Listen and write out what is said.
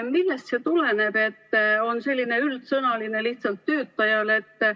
Millest see tuleneb, et on selline üldsõnaline, lihtsalt "töötajale"?